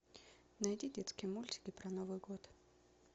найди детские мультики про новый год